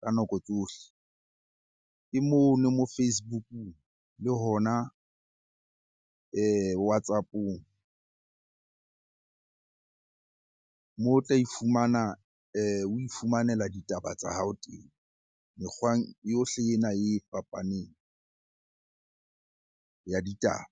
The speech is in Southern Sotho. ka nako tsohle, ke mono moo Facebook-ung le hona WhatsApp-ong. Moo o tla e fumana o ifumanela ditaba tsa hao teng, mekgwang yohle ena e fapaneng ya ditaba.